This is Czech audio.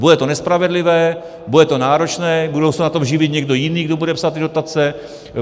Bude to nespravedlivé, bude to náročné, bude se na tom živit někdo jiný, kdo bude psát ty dotace.